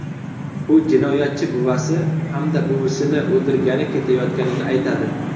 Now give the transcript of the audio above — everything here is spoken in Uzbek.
U jinoyatchi buvasi hamda buvisini o‘ldirgani ketayotganini aytadi.